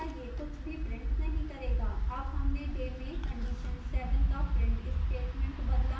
अब हमने day में condition 7 का print statement बदला